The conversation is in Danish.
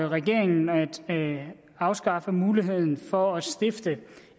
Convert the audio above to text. regeringen at afskaffe muligheden for at stifte